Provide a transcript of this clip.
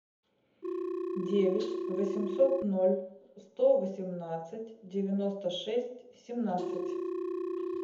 девять восемьсот ноль сто восемнадцать девяносто шесть семнадцать